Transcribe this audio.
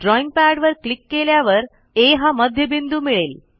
ड्रॉईंगपॅडवर click केल्यावर आ हा मध्यबिंदू मिळेल